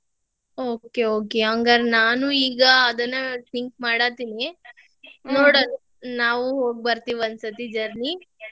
Okay okay ಹಂಗಾರ್ ನಾನು ಈಗ ಅದನ್ನ think ಮಾಡತಿದ್ನಿ, ನೋಡ್ ನಾವು ಹೋಗಿ ಬರ್ತೇವಿ ಒಂದ್ ಸಾರಿ journey .